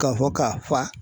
Ka fɔ k'a fa